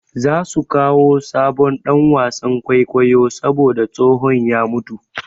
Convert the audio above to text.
Za su kawo sabon ɗan wasan kwaikwayo saboda tsohon ya mutu.